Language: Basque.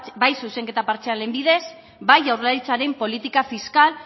bai zuzenketa partzialen bidez bai jaurlaritzaren politika fiskal